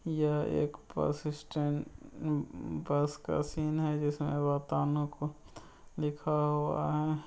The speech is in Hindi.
यह एक बस स्टैंड उम बस का सीन है जिसमें लिखा हुआ है।